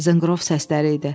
Zınqrov səsləri idi.